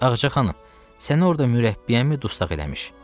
Ağacı xanım, səni orada mürəbbiyəmi dustaq eləmiş?